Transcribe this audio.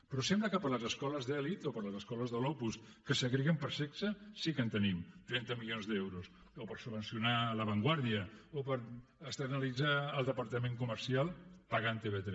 però sembla que per a les escoles d’elit o per a les escoles de l’opus que segreguen per sexe sí que en tenim trenta milions d’euros o per subvencionar la vanguardia o per externalitzar el departament comercial pagant tv3